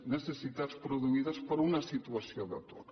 necessitats produïdes per una situació d’atur